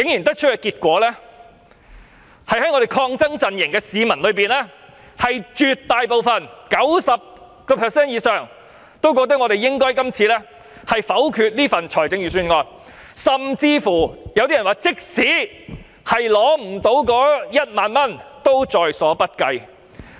得出的結果是，在抗爭陣營裏，絕大部分的市民覺得我們應該否決預算案，甚至有些人說，即使無法得到1萬元也在所不計。